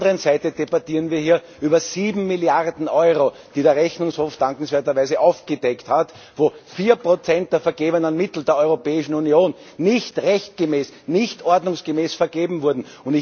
Auf der anderen Seite debattieren wir hier über sieben Milliarden Euro, die der Rechnungshof dankenswerter Weise aufgedeckt hat, wo 4 der vergebenen Mittel der Europäischen Union nicht rechtmäßig, nicht ordnungsgemäß vergeben wurden.